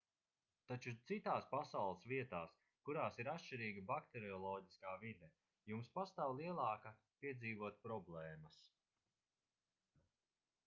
taču citās pasaules vietās kurās ir atšķirīga bakterioloģiskā vide jums pastāv lielāka piedzīvot problēmas